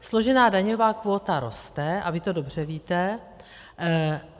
Složená daňová kvóta roste a vy to dobře víte.